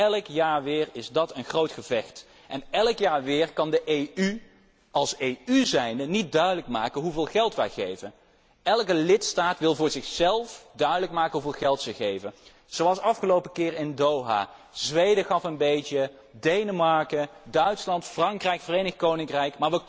Elk jaar weer is dat een groot gevecht. En elk jaar weer kan de EU, als EU zijnde, niet duidelijk maken hoeveel geld wij geven. Elke lidstaat wil voor zichzelf duidelijk maken hoeveel geld ze geven. Zoals afgelopen keer in Doha Zweden gaf een beetje, Denemarken, Duitsland, Frankrijk, het Verenigd Koninkrijk.